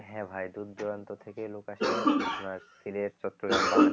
হ্যাঁ ভাই দূর দূরান্ত থেকে লোক আসে